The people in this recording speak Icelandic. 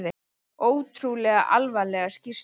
Ótrúlega alvarlegar skýrslur